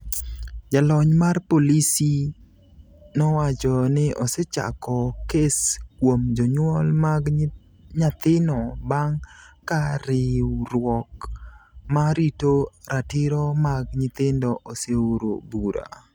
Jalony mar polisi nowacho ni osechako kes kuom jonyuol mag nyathino bang’ ka riwruok ma rito ratiro mag nyithindo oseoro bura.